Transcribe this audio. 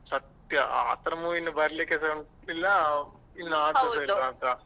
ಸತ್ಯ ಆ ತರ movie ಇನ್ನು ಬರ್ಲಿಕ್ಕೆಸ ಇಲ್ಲ ಇಲ್ವ ಅಂತ.